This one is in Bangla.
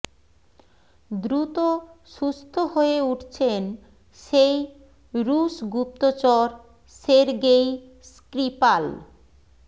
দ্রুত সুস্থ হয়ে উঠছেন সেই রুশ গুপ্তচর সের্গেই স্ক্রিপাল